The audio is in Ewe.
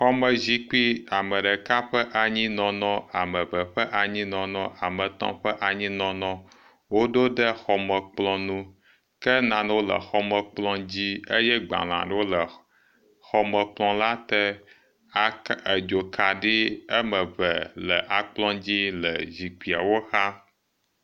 Xɔmezikpui ame ɖeka ƒe anyinɔnɔ, ame eve ƒe anyinɔnɔ, ame etɔ̃ ƒe anyinɔnɔ woɖo ɖe xɔmekplɔ ŋu ke nanewo le xɔmekplɔ dzi eye gbalẽ aɖewo le xɔmekplɔ la te, edzokaɖi woameve le akplɔ dzi le zikpuiawo xa